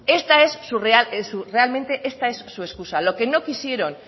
esta es su real realmente es su excusa lo que no quisieron